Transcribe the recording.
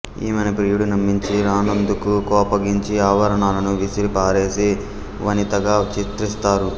ఈమెను ప్రియుడు నమ్మించి రానందుకు కోపగించి ఆభరణాలను విసిరిపారేసే వనితగా చిత్రిస్తారు